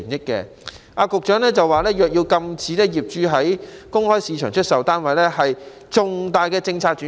局長說若要禁止業主在公開市場出售單位，是重大的政策轉變。